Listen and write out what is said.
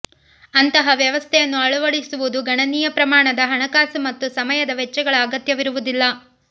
ಅಂತಹ ವ್ಯವಸ್ಥೆಯನ್ನು ಅಳವಡಿಸುವುದು ಗಣನೀಯ ಪ್ರಮಾಣದ ಹಣಕಾಸು ಮತ್ತು ಸಮಯದ ವೆಚ್ಚಗಳ ಅಗತ್ಯವಿರುವುದಿಲ್ಲ